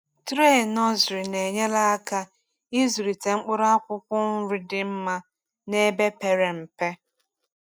Tray nursery na-enyere aka ịzụlite mkpụrụ akwụkwọ nri dị mma n’ebe pere mpe.